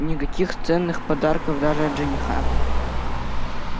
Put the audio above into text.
никаких ценных подарков даже от жениха